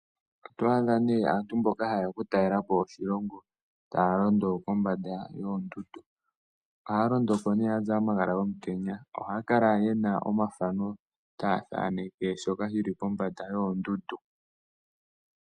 Oto adha nee aantu mboka haye ya okutalelapo oshilongo taya londo kombanda yoondundu. Ohaya londoko nee ya zala omagala gomutenya, ohaya kala yena omathano taya thaneke shoka shi li pombanda yoondundu.